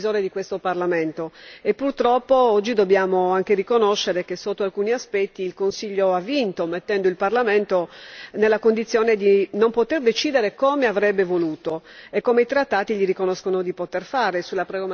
Purtroppo, oggi dobbiamo anche riconoscere che, sotto alcuni aspetti, il Consiglio ha vinto, mettendo il Parlamento nella condizione di non poter decidere come avrebbe voluto e come i Trattati gli riconoscono di poter fare sulla programmazione finanziaria dell'Unione.